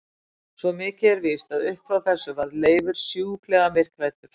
Svo mikið er víst að upp frá þessu varð Leifur sjúklega myrkhræddur.